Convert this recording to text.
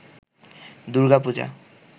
Durga Puja